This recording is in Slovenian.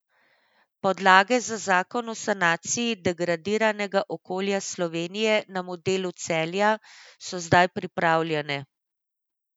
Podlage za zakon o sanaciji degradiranega okolja Slovenije na modelu Celja so zdaj pripravljene.